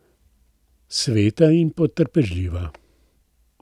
Sveta in potrpežljiva.